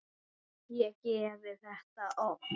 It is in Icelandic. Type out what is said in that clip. Ég geri þetta oft.